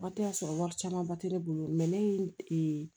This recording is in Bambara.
Waati y'a sɔrɔ wari camanba tɛ ne bolo ne ye